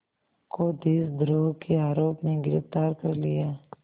को देशद्रोह के आरोप में गिरफ़्तार कर लिया